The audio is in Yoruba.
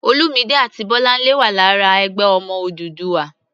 Olúmidé àti Bọ́láńlé wà lára "Ẹgbẹ́ Ọmọ Odùduwà."